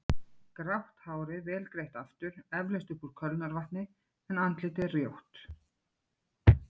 Grátt hárið vel greitt aftur, eflaust upp úr kölnarvatni, en andlitið rjótt.